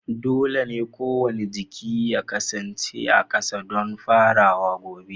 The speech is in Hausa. Dole ne kowane jiki ya kasance a ƙasa don farawa gobe